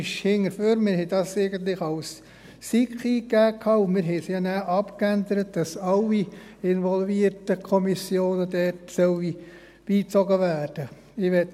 Eigentlich haben wir diese als SiK eingegeben, und wir haben sie ja nachher insofern abgeändert, als dort alle involvierten Kommissionen beigezogen werden sollen.